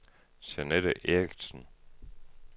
Jeanette Erichsen